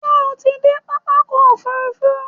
Ṣé o ti dé pápákọ̀ òfurufú?